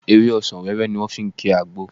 Ewé ọsàn wẹ́wẹ́ ni wọ́n fi ń ki àgbo